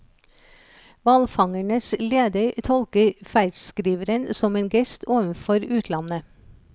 Hvalfangernes leder tolker ferdskriveren som en gest overfor utlandet.